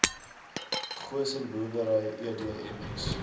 goosen boerdery edms